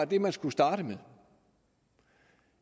det man skulle starte med